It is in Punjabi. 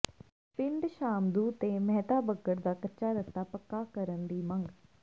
ਪਿੰਡ ਸ਼ਾਮਦੂ ਤੇ ਮਹਿਤਾਬਗੜ੍ਹ ਦਾ ਕੱਚਾ ਰਸਤਾ ਪੱਕਾ ਕਰਨ ਦੀ ਮੰਗ